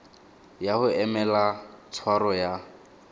ya go emela tshwaro ya